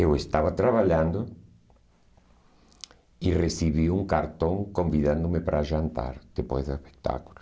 Eu estava trabalhando e recebi um cartão convidando-me para jantar depois do espetáculo.